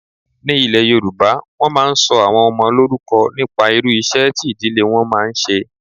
Ní ilé yoòbá, wọ́n máa n sọ àwọn ọmọ lórúkọ nípa irú iṣẹ́ tí ìdílé wọn máa n ṣe